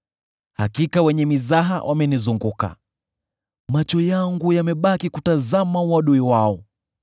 Hakika wenye mizaha wamenizunguka; macho yangu yamebaki kutazama uadui wao.